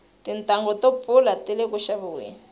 tintanghu to pfula tile ku xaviweni